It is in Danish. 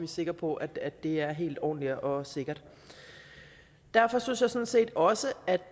sikre på at det er helt ordentligt og sikkert derfor synes jeg sådan set også